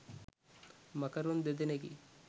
මකරුන් දෙදෙනෙකි